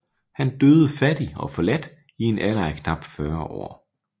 Han døde fattig og forladt i en alder af knap 40 år